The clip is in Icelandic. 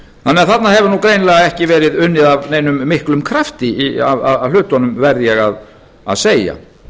þarna hefur nú greinilega ekki verið unnið af neinum miklum krafti að hlutunum verð ég að segja